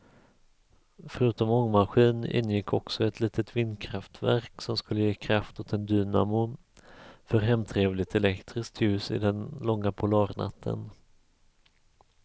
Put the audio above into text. Förutom ångmaskin ingick också ett litet vindkraftverk som skulle ge kraft åt en dynamo för hemtrevligt elektriskt ljus i den långa polarnatten.